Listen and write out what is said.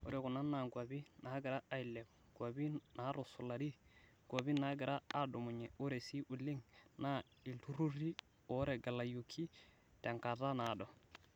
Ore kuna naa kwapi nagira ailepu, kwapi natusulari, kwapi nagira adumunye ore sii oleng na iltururi otegelayioki tenkata naado.